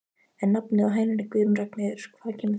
En nafnið á hænunni Guðrún Ragnheiður, hvaðan kemur það?